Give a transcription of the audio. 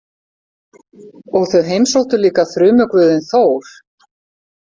Og þau heimsóttu líka þrumuguðinn Þór.